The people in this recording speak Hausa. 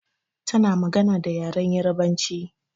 Ta na magana da yaren Yarabanci